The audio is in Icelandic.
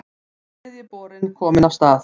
Þriðji borinn kominn af stað